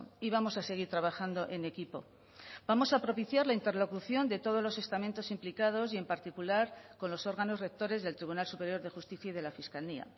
y vamos a seguir trabajando en equipo vamos a propiciar la interlocución de todos los estamentos implicados y en particular con los órganos rectores del tribunal superior de justicia y de la fiscalía